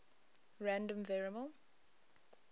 random variable